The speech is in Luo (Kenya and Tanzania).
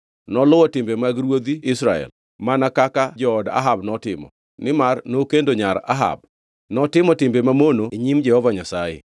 Noluwo timbe mag ruodhi Israel, mana kaka jood Ahab notimo, nimar nokendo nyar Ahab. Notimo timbe mamono e nyim Jehova Nyasaye.